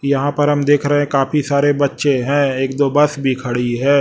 यहाॅं पर हम देख रहें हैं काफी सारे बच्चे हैं एक दो बस भी खड़ी हैं।